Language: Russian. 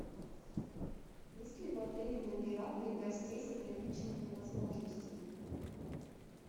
есть ли в отеле номера для гостей с ограниченными возможностями